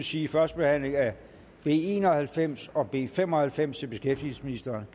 sige første behandling af b en og halvfems og b fem og halvfems til beskæftigelsesministeren